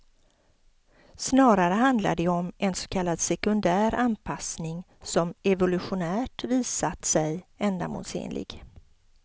Snarare handlar det om en så kallad sekundär anpassning, som evolutionärt visat sig ändamålsenlig.